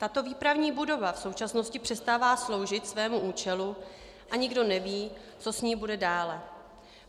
Tato výpravní budova v současnosti přestává sloužit svému účelu a nikdo neví, co s ní bude dále.